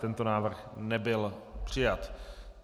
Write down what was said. Tento návrh nebyl přijat.